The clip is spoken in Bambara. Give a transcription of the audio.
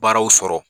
Baaraw sɔrɔ